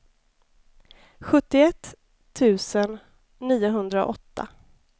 sjuttioett tusen niohundraåtta